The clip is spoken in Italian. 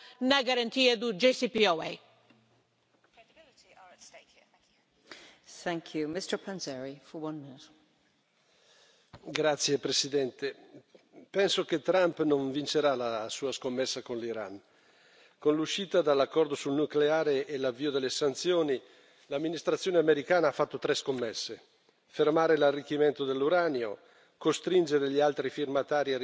Signora Presidente, onorevoli colleghi, penso che Trump non vincerà la sua scommessa con l'Iran. Con l'uscita dall'accordo sul nucleare e l'avvio delle sanzioni, l'Amministrazione americana ha fatto tre scommesse fermare l'arricchimento dell'uranio, costringere gli altri firmatari a ritirare la propria adesione, penalizzando le aziende europee,